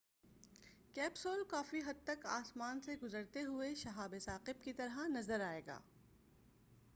capsule کافی حد تک آسمان سے گزرتے ہوئے شَہاب ثاقِب کی طرح نظر آئےگا